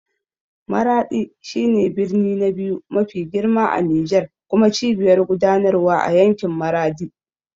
Maraɗi shi ne birni na biyu mafi girma a Nijar kuma cibiyar gudanarwa a yankin Maradi.